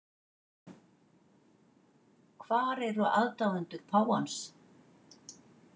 Hvar eru aðdáendur páfans